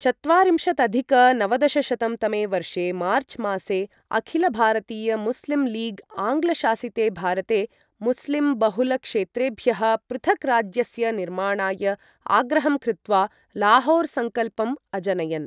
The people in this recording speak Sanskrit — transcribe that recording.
चत्वारिंशदधिक नवदशशतं तमे वर्षे मार्चमासे अखिलभारतीयमुस्लिमलीग् आङ्ग्लशासिते भारते मुस्लिमबहुलक्षेत्रेभ्यः पृथक् राज्यस्य निर्माणाय आग्रहं कृत्वा लाहौरसंकल्पं अजनयन्।